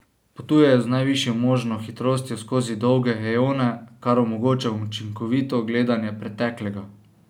Potujejo z najvišjo možno hitrostjo skozi dolge eone, kar omogoča učinkovito gledanje preteklega.